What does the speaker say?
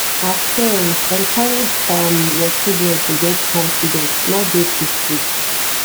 as parent encourage um your children to get confidence no dey too strict